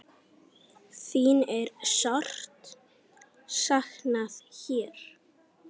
Þín er sárt saknað hér.